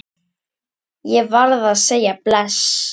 Ég varð að segja bless.